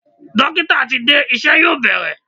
Dókítà ti dé, iṣẹ́ yóò bẹ̀rẹ̀.